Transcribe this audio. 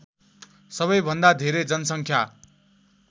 सबैभन्दा धेरै जनसङ्ख्या